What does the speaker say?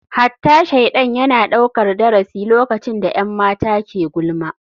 Hatta shaidan yana daukar darasi lokacin da 'yan mata ke gulma.